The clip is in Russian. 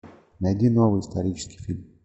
найди новый исторический фильм